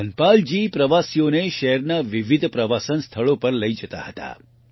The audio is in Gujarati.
ધનપાલજી પ્રવાસીઓને શહેરના વિવિધ પ્રવાસન સ્થળો પર લઈ જતા હતા